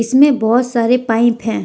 बहोत सारे पाइप है।